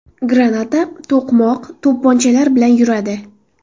Granata, to‘qmoq, to‘pponchalar bilan yuradi.